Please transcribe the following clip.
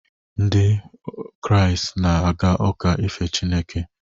Ndị nke Kraịst na-aga uka ife Chineke.